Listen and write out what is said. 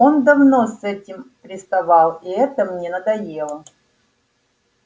он давно с этим приставал и это мне надоело